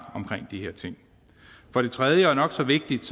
omkring de her ting for det tredje og nok så vigtigt